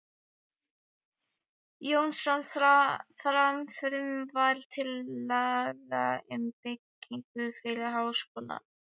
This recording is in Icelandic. Jónsson, fram frumvarp til laga um byggingu fyrir Háskóla